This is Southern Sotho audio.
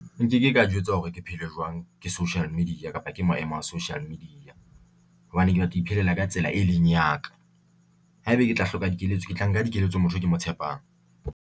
Nkeke ka jwetswa hore ke phele jwang ke social media kapa ke maemo a social media hobane ke batla ho iphelela ka tsela e leng ya ka. Haeba ke tla hloka dikeletso, ke tla nka dikeletso motho e ke mo tshepang.